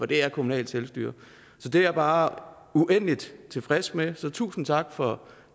der er kommunalt selvstyre det er jeg bare uendelig tilfreds med så tusind tak for